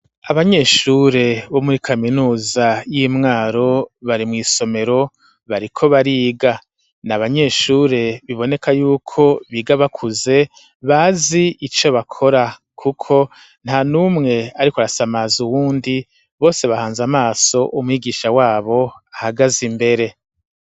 Abanyeshure bo muri kaminuza yi Mwaro bari mw'isomero bariko bariga ni abanyeshure biboneka yuko biga bakuze bazi ico bakora kuko nta numwe ariko arasamaza uwundi bose bahanze amaso umwigisha wabo ahagaze imbere